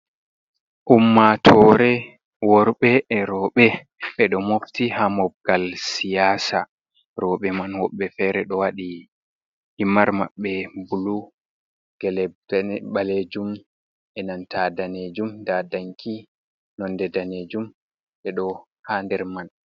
Umaatoore worɓe e rooɓe, ɓe ɗo mofti ha mobgal siyaasa, rooɓe man woɓɓe fere ɗo waɗi himar maɓɓe bulu, ɓaleejum e nanta daneejum, ndaa danki nonde daneejum ɓe ɗo ha nder man.